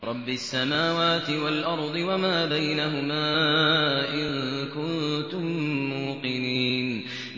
رَبِّ السَّمَاوَاتِ وَالْأَرْضِ وَمَا بَيْنَهُمَا ۖ إِن كُنتُم مُّوقِنِينَ